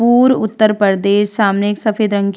पूर्व उत्तर प्रदेश सामने एक सफ़ेद रंग की --